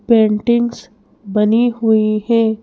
Paintings बनी हुई है।